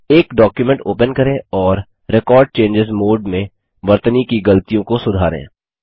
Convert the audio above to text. एक document open करें और रेकॉर्ड चेंजों मोड में वर्तनी की गलतियों को सुधारें